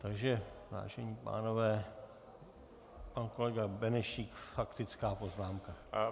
Takže vážení pánové, pan kolega Benešík, faktická poznámka.